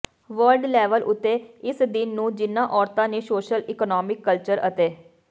world level ਉੱਤੇ ਇਸ ਦਿਨ ਨੂੰ ਜਿਨ੍ਹਾਂ ਔਰਤਾਂ ਨੇ ਸੋਸ਼ਲ ਇਕੋਨੋਮਿਕ ਕਲਚਰ ਅਤੇ